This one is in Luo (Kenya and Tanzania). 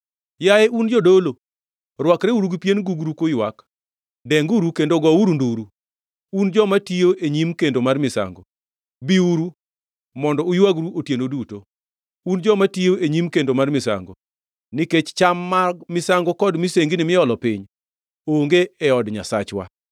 Yaye un jodolo, rwakreuru gi pien gugru kuywak; denguru kendo gouru nduru, un joma tiyo e nyim kendo mar misango. Biuru, mondo uywagru otieno duto, un joma tiyo e nyim kendo mar misango, nikech cham mag misango kod misengini miolo piny, onge e od Nyasachwa.